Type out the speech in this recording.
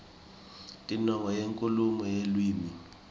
tinongo tenkhulumo yeluwimi